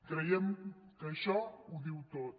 creiem que això ho diu tot